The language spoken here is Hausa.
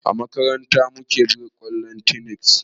A makaranta mu ke buga kwallon tennis